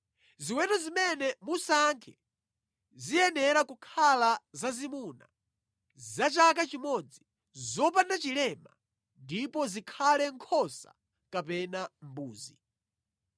Ziweto zimene musankhe ziyenera kukhala zazimuna za chaka chimodzi, zopanda chilema, ndipo zikhale nkhosa kapena mbuzi.